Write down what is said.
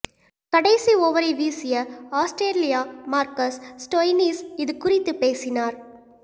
கடைசி ஓவரை வீசிய ஆஸ்திரேலிய மார்கஸ் ஸ்டோய்னிஸ் இதுகுறித்து பேசினார்